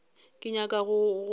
ke nyaka go go botša